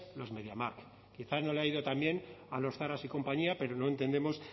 los mediamarkt quizá no le ha ido tan bien a los zaras y compañía pero no entendemos